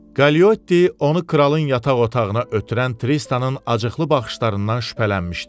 Kaliotti onu kralın yataq otağına ötürən Tristanın acıqlı baxışlarından şübhələnmişdi.